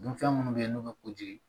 Dunfɛn minnu bɛ yen n'u bɛ kojigi